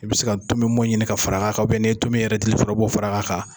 I bɛ se ka tunmi bɔn ɲini ka far'a kan n'i ye tomin yɛrɛ dili bɔ o b'o far'a kan.